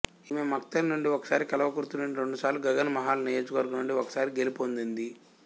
ఈమె మక్తల్ నుండి ఒకసారి కల్వకుర్తి నుండి రెండు సార్లు గగన్ మహల్ నియోజకవర్గం నుండి ఒకసారి గెలుపొందింది